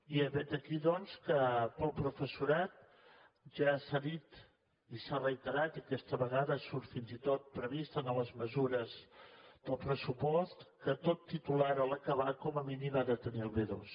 i vet aquí doncs que per al professorat ja s’ha dit i s’ha reiterat i aquesta vegada surt fins i tot previst en les mesures del pressupost que tot titulat a l’acabar com a mínim ha de tenir el b2